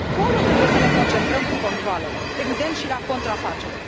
atunci acolo trebuie să ne concentrăm cu controalele, evident și la contrafacere.